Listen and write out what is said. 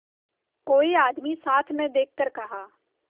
कोई आदमी साथ न देखकर कहा